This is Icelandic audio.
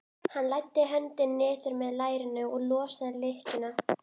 Hann læddi höndinni niður með lærinu og losaði lykkjuna.